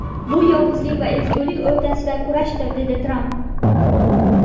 Bu yovuzlik va ezgulik o‘rtasidagi kurashdir”, dedi Tramp.